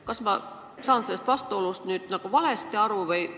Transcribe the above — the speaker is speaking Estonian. Kas ma saan sellest vastuolust nagu valesti aru?